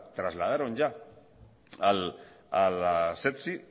trasladaron ya a la